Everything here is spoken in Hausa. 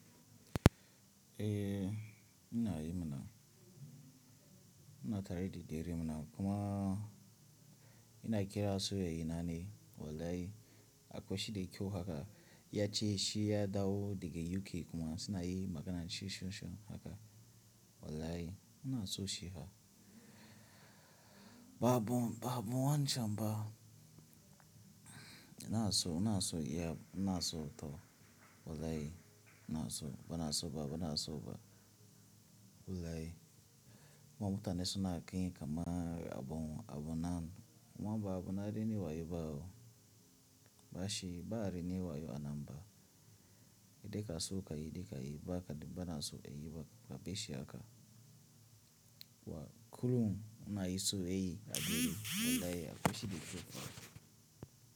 Eh ina yi mana, ina tare da diri mana kuma ina kira saurayi nani. Wallahi akwai shi da kyau haka. Ya ce shi ya dawo daga UK kuma suna yi magana shisonsho haka. Wallahi ina son shi fa. Ba abun, ba abun wancan ba. Ina so, ina so yeah ina so to wallahi ina so. Bana so ba, bana so ba. Wallahi. Kuma mutane suna ƙin ka man abun, abun nan. Kuma ba abun na raini wayo ba wo. Ba shi ba rai nin wayo a nan ba. Dika so ka yi, di ka yi ba ka, bana so a yi babu shi haka. Wa kurum ina yi so yayya na dare. Wallahi akwai shi da kyau fa.